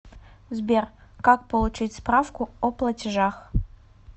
сбер как получить справку о платежах